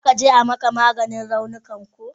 Za ka je ayi maka maganin raunukan ko?